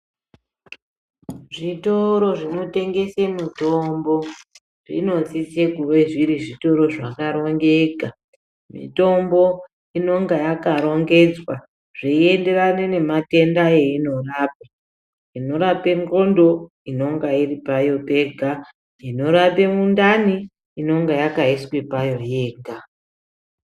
Zvitoro zvinotengese mitombo zvinosise kuve zviri zvitoro zvakarongeka mitombo inonga yakarongedzwa zveienderana nematenda einorapa, inorapa ndxondo inonga iri payo pega, inorape mundani inenge yakaiswe payo pega.